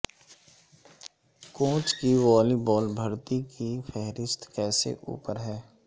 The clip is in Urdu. کوچ کی والی بال بھرتی کی فہرست کیسے اوپر ہے